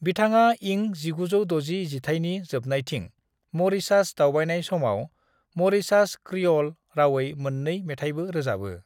बिथाङा इं 1960 जिथाइनि जोबनायथिं म'रीशास दावबायनाय समाव म'रीशास क्रिअल रावै मोननै मेथाइबो रोजाबो।